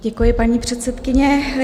Děkuji, paní předsedkyně.